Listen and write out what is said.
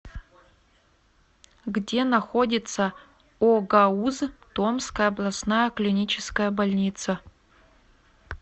где находится огауз томская областная клиническая больница